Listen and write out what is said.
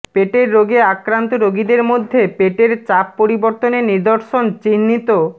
পেটের রোগে আক্রান্ত রোগীদের মধ্যে পেটের চাপ পরিবর্তনের নিদর্শন চিহ্নিত